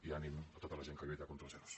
i ànim a tota la gent que lluita contra els ero